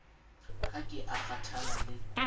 ha ke a kgathala le